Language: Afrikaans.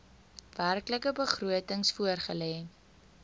werklike begrotings voorgelê